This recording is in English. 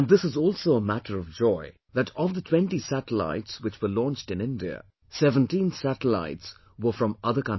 And this is also a matter of joy that of the twenty satellites which were launched in India, 17 satellites were from other countries